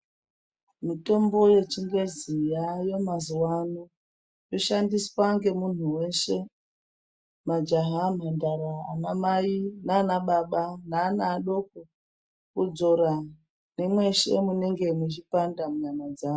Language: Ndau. Mitombo yechigezi yave mazuvano kushandiswa ngemuntu weshe, majaha, nhandara, anamai nanababa, neana adoko kudzora nemweshe munenge mechipanda munyama dzavo.